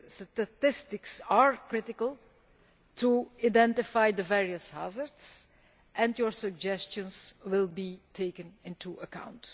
Statistics are critical to identify the various hazards, and your suggestions will be taken into account.